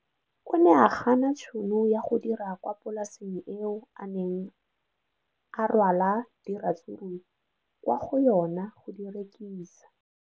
O ne a gana tšhono ya go dira kwa polaseng eo a neng rwala diratsuru kwa go yona go di rekisa.